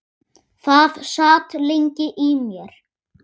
Það sat lengi í mér.